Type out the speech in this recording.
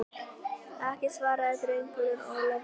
Ekki, svaraði drengurinn Ólafur.